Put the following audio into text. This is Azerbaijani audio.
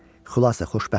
Xülasə xoşbəxt idi.